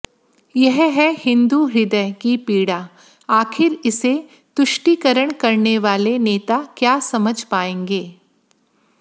यह है हिन्दू हृदय की पीड़ा आखिर इसे तुष्टीकरण करने वाले नेता क्या समझ पाएंगे